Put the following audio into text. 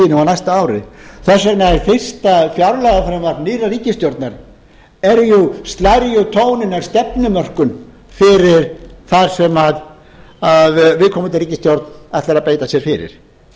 næsta kjörtímabili sínu og næsta ári þess vegna slær fyrsta fjárlagafrumvarp nýrrar ríkisstjórnar tóninn að stefnumörkun fyrir það sem viðkomandi ríkisstjórn ætlar að beita sér fyrir